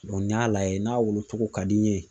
n'i y'a lajɛ n'a wolo cogo ka di n ye